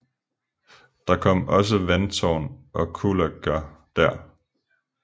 Der kom også vandtårn og kullager der